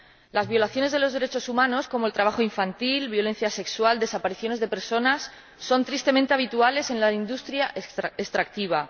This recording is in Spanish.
Las violaciones de los derechos humanos, como el trabajo infantil, la violencia sexual y las desapariciones de personas, son tristemente habituales en la industria extractiva.